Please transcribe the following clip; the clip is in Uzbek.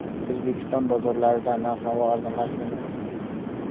O‘zbekiston bozorlarida narx-navo arzonlashdimi?.